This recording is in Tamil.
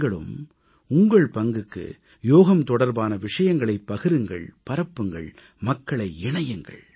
நீங்களும் உங்கள் பங்குக்கு யோகம் தொடர்பான விஷயங்களைப் பகிருங்கள் பரப்புங்கள் மக்களை இணையுங்கள்